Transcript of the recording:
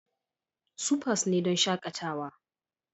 Supas ne don shakatawa.